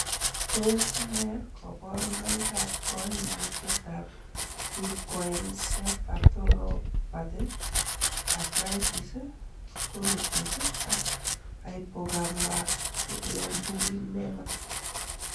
Tos nee koborunoikab koimutietab Leukoencephalopathy, arthritis, colitis ak hypogammaglobulinema?